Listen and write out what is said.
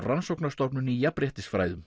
Rannsóknarstofnun í